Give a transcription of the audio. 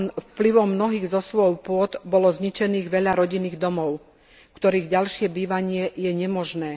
Vplyvom mnohých zosuvov pôdy bolo zničených veľa rodinných domov, v ktorých je ďalšie bývanie nemožné.